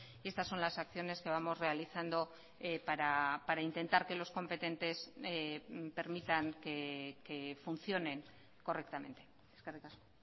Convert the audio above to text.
y estas son las acciones que vamos realizando para intentar que los competentes permitan que funcionen correctamente eskerrik asko